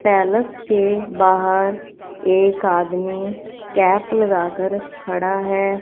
Palace के बाहर एक आदमी कैप लगा कर खड़ा है।